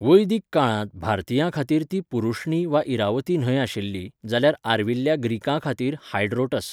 वैदीक काळांत भारतीयांखातीर ती पुरुष्णि वा इरावती न्हंय आशिल्ली जाल्यार आर्विल्ल्या ग्रीकांखातीर हायड्रोटस.